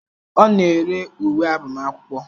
Ọ na-ere uwe agbamakwụkwọ